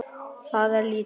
Það er lítið